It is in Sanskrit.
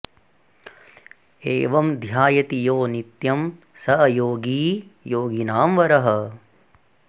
एवं ध्यायति यो नित्यं स योगी योगिनां वरः